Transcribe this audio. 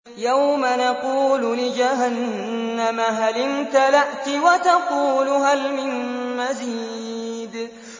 يَوْمَ نَقُولُ لِجَهَنَّمَ هَلِ امْتَلَأْتِ وَتَقُولُ هَلْ مِن مَّزِيدٍ